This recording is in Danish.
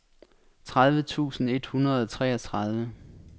tredive tusind et hundrede og treogtredive